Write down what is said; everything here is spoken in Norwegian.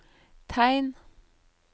tegn